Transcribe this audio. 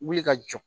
Wuli ka jɔ